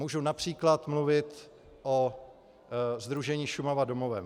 Můžu například mluvit o sdružení Šumava domovem.